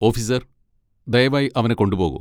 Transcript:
Officer, ദയവായി അവനെ കൊണ്ടുപോകൂ.